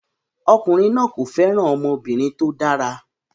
Ọkùnrin náà kò fẹ́ràn ọmọbìnrin tó dára